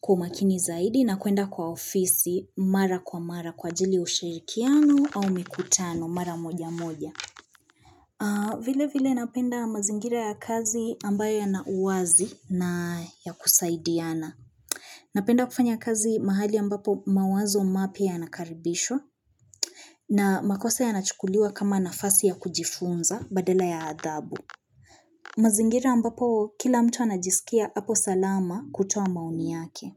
kwa makini zaidi na kwenda kwa ofisi mara kwa mara kwa ajili ushirikiano au mikutano mara moja moja. Vile vile napenda mazingira ya kazi ambayo ya nauwazi na ya kusaidiana Napenda kufanya kazi mahali ambapo mawazo mapya yanakaribishwa na makosa ya nachukuliwa kama nafasi ya kujifunza badala ya adhabu mazingira ambapo kila mtu anajisikia hapo salama kutoa maoni yake.